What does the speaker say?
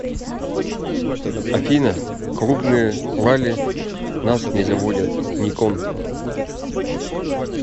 афина клубные лали нас не заводят никон